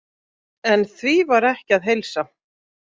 En því var ekki að heilsa.